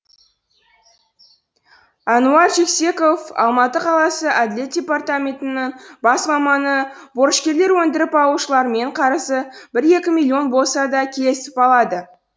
әнуар жексеков алматы қаласы әділет департаментінің бас маманы борышкерлер өндіріп алушылармен қарызы бір екі миллион болса да келісіп алады